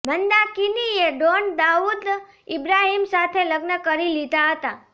મંદાકિનીએ don Dawood Ibrahim સાથે લગ્ન કરી લીધા હતા